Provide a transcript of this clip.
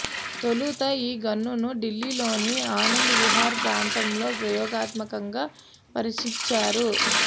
తొలుత ఈ గన్స్ను ఢిల్లీలోని ఆనంద్ విహార్ ప్రాంతంలో ప్రయోగాత్మకంగా పరీక్షించారు